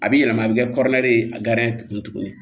A bi yɛlɛma a bi kɛ ye a kun tugunni